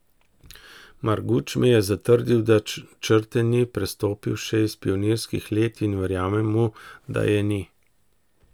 Marguč mi je zatrdil, da črte ni prestopil še iz pionirskih let in verjamem mu, da je ni.